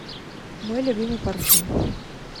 мой любимый парфюм